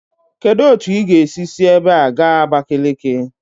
Kedu otu ị ga-esi si ebe a gaa Abakeleke?